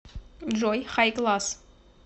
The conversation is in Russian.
джой хайкласс